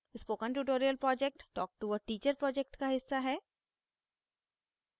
spoken tutorial project talktoa teacher project का हिस्सा है